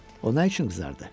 O nə üçün qızardı?